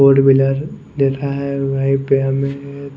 four wheeler दिख रहा है वहीं पे हमें--